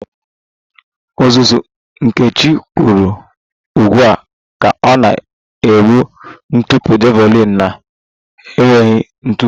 Ọzụzụ Nkechi kwụrụ ụgwọ ka ọ na-egbu ntụpọ javelin na-enweghị ntụpọ